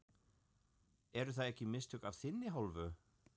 Eru það ekki mistök af þinni hálfu?